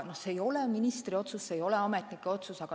See ei ole ministri otsus, see ei ole ametnike otsus.